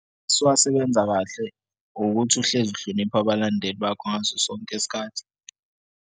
Sewasebenza kahle ukuthi uhlezi uhloniphe abalandeli bakho ngaso sonke isikhathi.